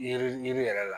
Yiri yiri yɛrɛ la